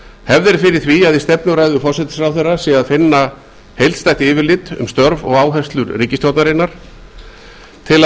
hefð er fyrir því að í stefnuræðu forsætisráðherra sé að finna heildstætt yfirlit um störf og áherslur ríkisstjórnarinnar í þeim tilgangi